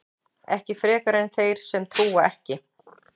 ekki frekar en þeir sem trúa ekki